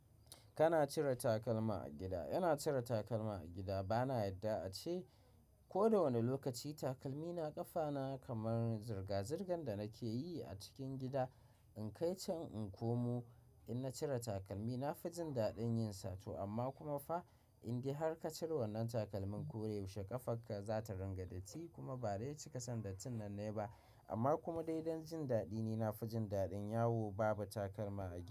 Kana cire takalma a gida. Ina cire takalma a gida. Bana yadda a ce ko da wane lokaci takalmi na ƙafa na kamar zirga-zirgan da nake yi a cikin gida. In kai can in komo, in na cire takalmi nafi jin daɗin yin sa to amma kuma fa in dai har ka cire wannan takalmin ko da yaushe ƙafarka za ta ringa datti kuma ba dai cika san dattin nan nayi ba. Amma kuma dai don jin daɗi ni nafi jin daɗin. Yawo Babu takalma a gida.